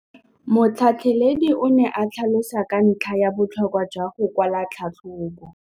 Motlhatlheledi o ne a tlhalosa ka ntlha ya botlhokwa jwa go kwala tlhatlhôbô.